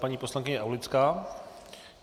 Paní poslankyně Aulická.